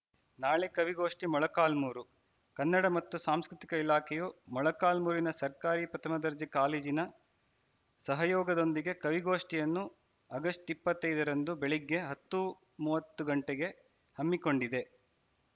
ನಾಳೆ ಕವಿಗೋಷ್ಠಿ ಮೊಳಕಾಲ್ಮೂರು ಕನ್ನಡ ಮತ್ತು ಸಂಸ್ಕೃತಿಕ ಇಲಾಖೆಯು ಮೊಳಕಾಲ್ಮೂರಿನ ಸರ್ಕಾರಿ ಪ್ರಥಮ ದರ್ಜೆ ಕಾಲೇಜಿನ ಸಹಯೋಗದೊಂದಿಗೆ ಕವಿಗೋಷ್ಠಿಯನ್ನು ಅಗಸ್ಟ್ ಇಪ್ಪತ್ತೈ ದರಂದು ಬೆಳಗ್ಗೆ ಹತ್ತು ಮೂವತ್ತು ಗಂಟೆಗೆ ಹಮ್ಮಿಕೊಂಡಿದೆ